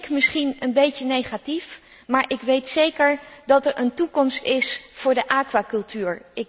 Ik klink misschien een beetje negatief, maar ik weet zeker dat er een toekomst is voor de aquacultuur.